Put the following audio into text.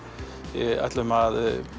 við ætlum að